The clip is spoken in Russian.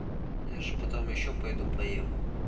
я же потом ещё пойду поем